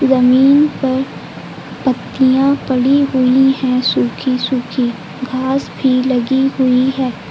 जमीन पर पत्तियाँ पड़ी हुई हैं सुखी सुखी घास भी लगी हुई है।